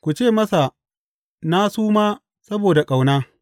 Ku ce masa na suma saboda ƙauna.